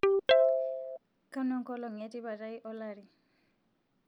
kanu enkolong e tipat aai olari